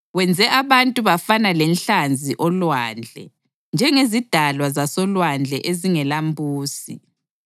Wenze abantu bafana lenhlanzi olwandle, njengezidalwa zasolwandle ezingelambusi.